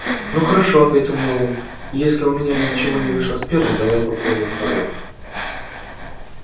ну хорошо ответил мэллоу если у меня ничего не вышло с первым давай попробуем второе